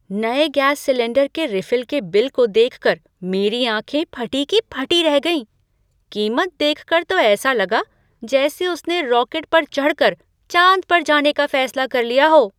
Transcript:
नए gas cylinder के refill के बिल को देखकर मेरी आँखें फटी की फटी रह गईं। कीमत देखकर तो ऐसा लगा जैसे उसने रॉकेट पर चढ़ कर चाँद पर जाने का फैसला कर लिया हो!